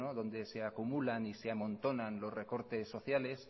donde se acumulan y se amontonan los recortes sociales